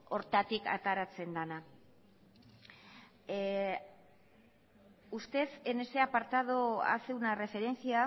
horretatik ateratzen dena usted en este apartado hace una referencia